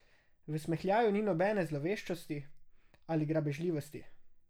V smehljaju ni nobene zloveščosti ali grabežljivosti.